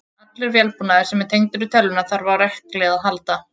Allur vélbúnaður sem er tengdur við tölvuna þarf á rekli að halda.